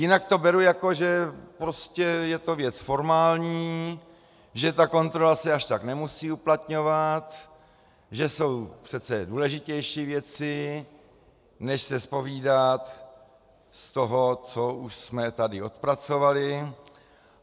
Jinak to beru, jako že prostě je to věc formální, že ta kontrola se až tak nemusí uplatňovat, že jsou přece důležitější věci než se zpovídat z toho, co už jsme tady odpracovali.